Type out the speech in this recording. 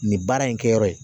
Nin baara in kɛyɔrɔ ye